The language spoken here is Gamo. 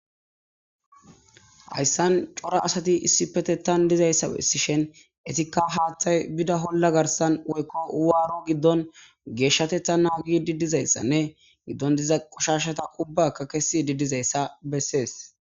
hayssan cora asati issipetetan dizayssa Besishen etikka haaththay bida holla garsan woykko waaru giddon geeshshatetha naagidi dizayssanne giddon diza qoshashata ubbaka kesidi dizayssa bessees